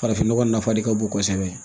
Farafinnɔgɔ nafa de ka bon kosɛbɛ